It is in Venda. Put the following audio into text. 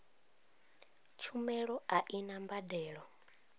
tshumelo a i na mbadelo